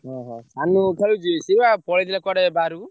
ସାନୁ ଖେଳୁଛି? ଓହୋ ସିଏ ବା ପଳେଇଥିଲେ ବାହାରକୁ।